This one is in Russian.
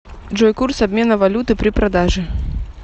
джой курс обмена валюты при продаже